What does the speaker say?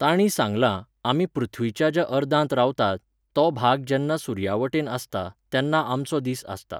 तांणीं सांगलां, आमी पृथ्वीच्या ज्या अर्दांत रावतात, तो भाग जेन्ना सुर्यावटेन आसता, तेन्ना आमचो दीस आसता.